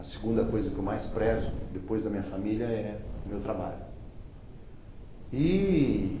A segunda coisa que eu mais prezo, depois da minha família, é o meu trabalho.